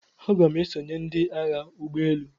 Aga m esonye ndị Agha ụgbọ elu.